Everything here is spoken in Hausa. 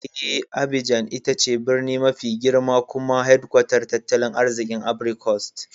Eh, Abidjan ita ce birni mafi girma kuma hedkwatar tattalin arzikin Ivory Coast.